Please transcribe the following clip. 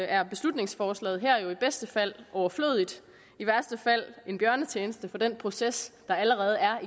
er beslutningsforslaget her jo i bedste fald overflødigt i værste fald en bjørnetjeneste til den proces der allerede er